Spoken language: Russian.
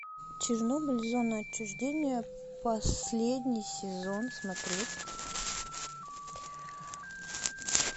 чернобыль зона отчуждения последний сезон смотреть